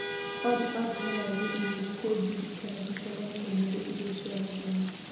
Olly atũmĩra mami e-mail kũnjirikana tũcemanie ũmũthĩ irio cia mũthenya